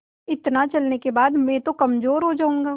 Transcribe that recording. इतना चलने के बाद मैं तो कमज़ोर हो जाऊँगा